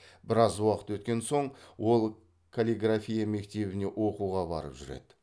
біраз уақыт өткен соң ол калиграфия мектебіне оқуға барып жүреді